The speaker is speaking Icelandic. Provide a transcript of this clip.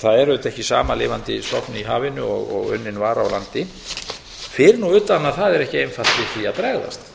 það er auðvitað ekki sama lifandi stofn í hafinu og unnin vara á landi fyrir nú utan að það er ekki einfalt við því að bregðast